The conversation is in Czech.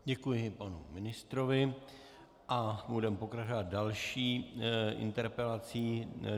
Děkuji panu ministrovi a budeme pokračovat další interpelací.